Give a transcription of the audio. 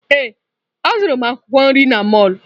Ee, azụrụ m akwụkwọ nri n'mọlụ.